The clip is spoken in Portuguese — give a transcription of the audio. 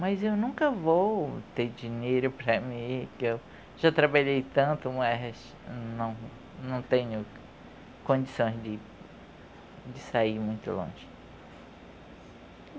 Mas eu nunca vou ter dinheiro para mim, que eu já trabalhei tanto, mas não não tenho condições de de sair muito longe.